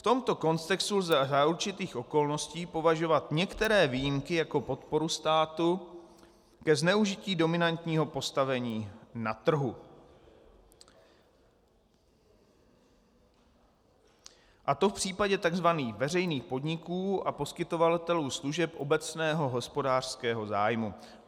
V tomto kontextu lze za určitých okolností považovat některé výjimky jako podporu státu ke zneužití dominantního postavení na trhu, a to v případě tzv. veřejných podniků a poskytovatelů služeb obecného hospodářského zájmu.